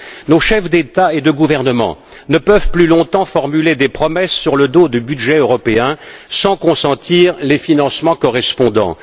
Nos chefs d'État et de gouvernement ne peuvent plus longtemps formuler des promesses sur le dos du budget européen sans consentir les financements correspondants.